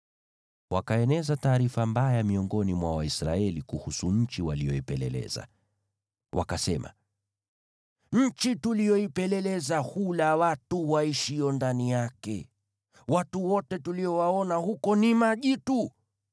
Wakaeneza taarifa mbaya miongoni mwa Waisraeli kuhusu nchi waliyoipeleleza. Wakasema, “Nchi tuliyoipeleleza hula watu waishio ndani yake. Watu wote tuliowaona huko ni majitu.